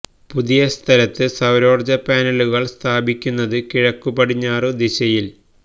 പുതിയ സ്ഥലത്ത് സൌരോർജ പാനലുകൾ സ്ഥാപിക്കുന്നത് കിഴക്കു പടിഞ്ഞാറു ദിശയിൽ